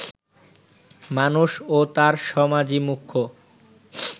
মানুষ ও তার সমাজই মুখ্য